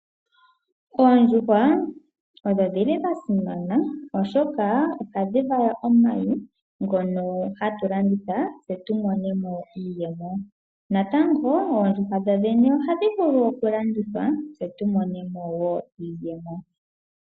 Oondjuhwa odhi li dhasimana oshoka hadhi vala omayi ngoka hatu landitha tse tumone mo iiyemo. Natango oondjuhwa dhodhene ohadhi vulu okulandithwa tse tumone mo iiyemo.